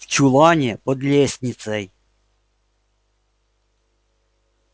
в чулане под лестницей